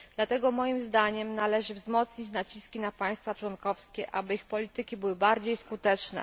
Dlatego moim zdaniem należy wzmocnić naciski na państwa członkowskie, aby ich polityki były bardziej skuteczne.